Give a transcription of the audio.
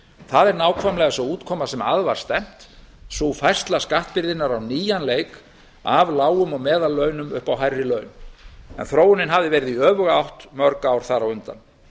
það er nákvæmlega sú útkoma sem að var stefnt sú færsla skattbyrðinnar á nýjan leik af lágum og meðallaunum upp á hærri laun þróunin hafði verið í öfuga átt mörg ár þar á undan